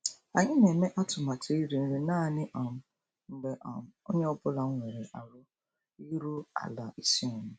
Anyị na-eme atụmatụ iri nri naanị um mgbe um onye ọ bụla nwere ahụ iru ala isonye.